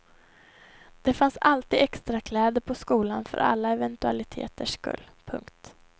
Det fanns alltid extra kläder på skolan för alla eventualiteters skull. punkt